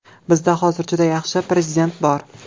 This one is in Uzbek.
Bizda hozir juda yaxshi prezident bor.